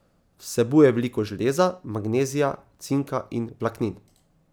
Vsebuje veliko železa, magnezija, cinka in vlaknin.